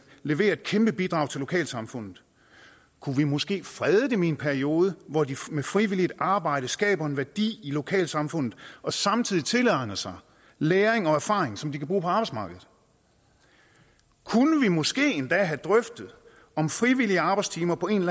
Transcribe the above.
levere et kæmpe bidrag til lokalsamfundet kunne vi måske frede dem i en periode hvor de med frivilligt arbejde skaber en værdi i lokalsamfundet og samtidig tilegner sig læring og erfaring som de kan bruge på arbejdsmarkedet kunne vi måske endda have drøftet om frivillige arbejdstimer på en